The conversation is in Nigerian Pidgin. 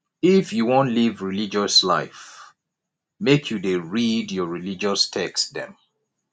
if you wan live righteous life make you dey read your religious text dem